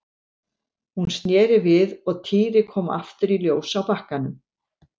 Hún sneri við og Týri kom aftur í ljós á bakkanum.